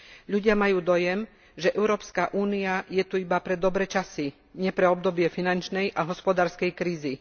Ľudia majú dojem, že Európska únia je tu iba pre dobré časy, nie pre obdobie finančnej a hospodárskej krízy.